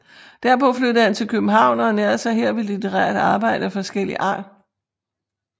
Derpå flyttede han til København og ernærede sig her ved litterært arbejde af forskellig art